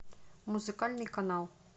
музыкальный канал